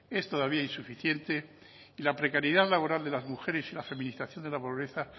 es todavía insuficiente y la precariedad laboral de las mujeres y la feminización de la pobreza